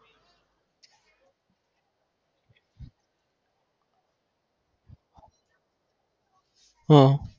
હા